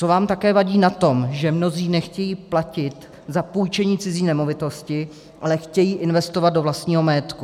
Co vám také vadí na tom, že mnozí nechtějí platit za půjčení cizí nemovitosti, ale chtějí investovat do vlastního majetku?